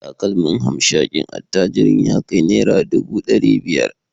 Takalmin hamshakin attajirin ya kai naira dubu dari biyar